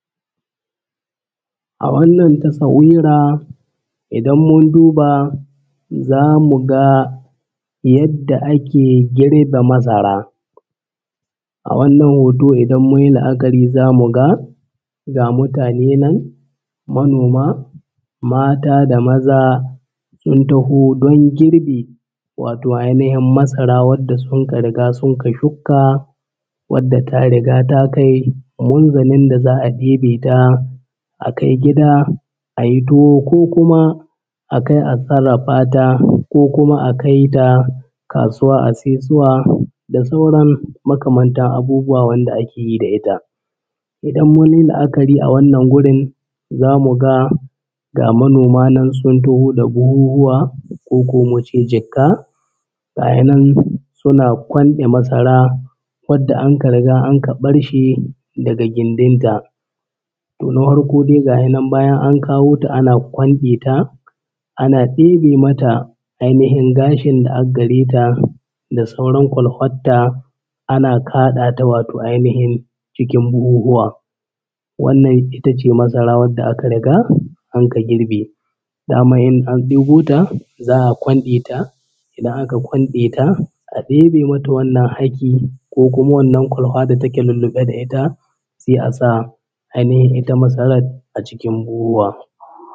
A wannan tasawira idan mun duba za mu ga yadda ake girbe masara. A wannan hoto idan mun yi la’akari za mu ga ga mutane nan manoma mata da maza sun taho don girbi, wato ainihin masara wadda suka riga sun ka shukka wadda ta riga ta kai munzalin da za a ɗebe ta a kai gida a yi tuwo ko kuma a kai a sarrafa ta ko kuma a kai ta kasuwa a saisuwa da sauran makamantan abubuwa wanda ake yi da ita. Idan mun yi la’akari a wannan gurin za mu ga ga manoma nan sun taho da buhuhuwa koko na ce jikka gaya nan suna kwanɗe masara wadda anka riga anka ɓarshe daga gindin ta. Toh na hwarko dai gashi nan bayan an kawo ta ana kwanɗe ta ana ɗebe mata ainihin gashin da aggare ta da sauran kwalfat ta ana kwaɗa ta wato ainihin cikin buhuhuwa. Wannan itace masara wadda aka riga anka girbe daman in an ɗebo ta za a kwanɗe ta, idan aka kwanɗe ta a ɗebe mata wannan haki ko kuma wannan kwalhwa da take lulluɓe da ita sai a sa ainihin ita masarar a cikin buhuhuwa.